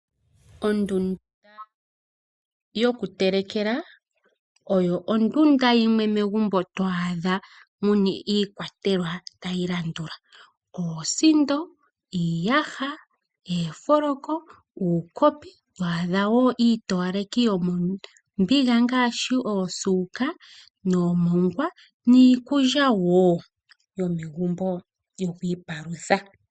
Ondunda yoku telekela oyo ondunda yimwe megumbo to adha muna iikwatelwa tayi landula: oosindo, iiyaha, oofoloko, uukopi, to adha wo iitowaleki yomombiga ngaashi osuuka nomongwa, niikulya wo yomegumbo yoku ipalutha.